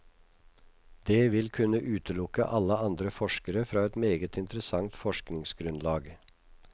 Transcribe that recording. Det vil kunne utelukke alle andre forskere fra et meget interessant forskningsgrunnlag.